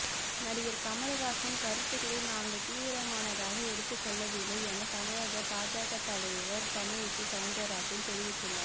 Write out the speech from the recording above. நடிகர் கமல்ஹாசன் கருத்துகளை நாங்கள் தீவிரமானதாக எடுத்துக் கொள்ளவில்லை என தமிழக பாஜக தலைவர் தமிழிசை சவுந்தரராஜன் தெரிவித்துள்ளார்